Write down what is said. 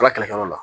Ala kɛlɛkɛlaw la